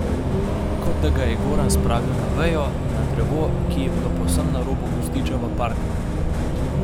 Kot da ga je Goran spravil na vejo, na drevo, ki je bilo povsem na robu gozdiča v parku.